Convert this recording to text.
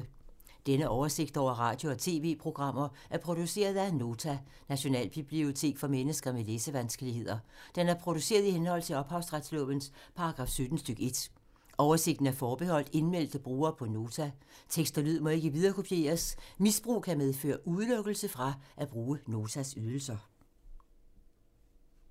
Denne oversigt over radio og TV-programmer er produceret af Nota, Nationalbibliotek for mennesker med læsevanskeligheder. Den er produceret i henhold til ophavsretslovens paragraf 17 stk. 1. Oversigten er forbeholdt indmeldte brugere på Nota. Tekst og lyd må ikke viderekopieres. Misbrug kan medføre udelukkelse fra at bruge Notas ydelser.